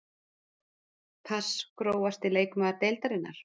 pass Grófasti leikmaður deildarinnar?